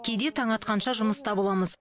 кейде таң атқанша жұмыста боламыз